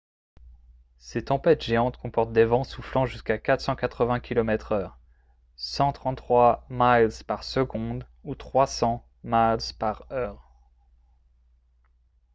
ces tempêtes géantes comporte des vents soufflant jusqu'à 480 km/h 133 m/s ou 300 mph